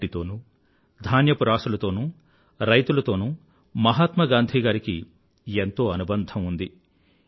మట్టి తోనూ ధాన్యపు రాసులతోనూ రైతులతోనూ మహాత్మా గాంధీ గారికి ఎంతో అనుబంధం ఉంది